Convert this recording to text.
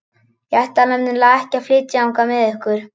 Ég ætla nefnilega ekki að flytja þangað með ykkur.